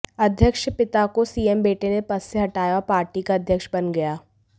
अध्यक्ष पिता को सीएम बेटे ने पद से हटाया और पार्टी का अध्यक्ष बन गया